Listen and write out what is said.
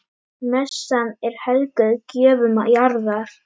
Messan er helguð gjöfum jarðar.